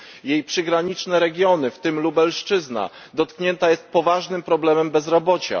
Jej przygraniczne regiony, w tym Lubelszczyzna, dotknięte są poważnym problemem bezrobocia.